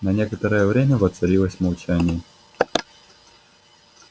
на некоторое время воцарилось молчание